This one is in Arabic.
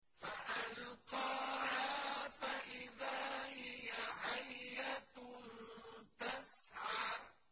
فَأَلْقَاهَا فَإِذَا هِيَ حَيَّةٌ تَسْعَىٰ